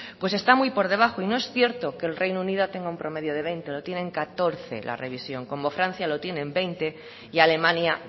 pues está muy por debajo y no es cierto que el reino unido tenga un promedio de veinte lo tiene en catorce la revisión como francia lo tiene en veinte y alemania